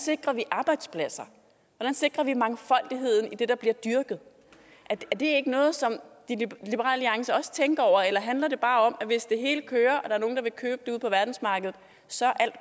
sikrer vi arbejdspladser hvordan sikrer vi mangfoldigheden i det der bliver dyrket er det ikke noget som liberal alliance også tænker over eller handler det bare om at hvis det hele kører og der er nogle der vil købe det ude på verdensmarkedet så er alt